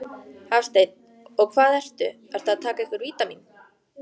Hafsteinn: Og hvað ertu, ertu að taka einhver vítamín?